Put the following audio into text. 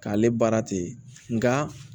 K'ale baara tɛ nka